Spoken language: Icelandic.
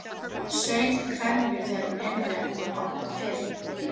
Saup hveljur þegar hún heyrði að hún var orðin fimm.